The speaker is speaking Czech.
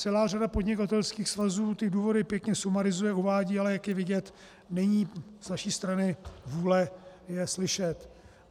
Celá řada podnikatelských svazů ty důvody pěkně sumarizuje, uvádí, ale jak je vidět, není z vaší strany vůle je slyšet.